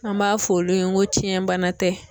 An b'a fɔ olu ye ko fiɲɛ bana tɛ.